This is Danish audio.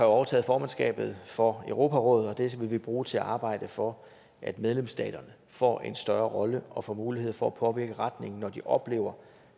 overtaget formandskabet for europarådet og det vil vi bruge til at arbejde for at medlemsstaterne får en større rolle og får mulighed for at påvirke retningen når de oplever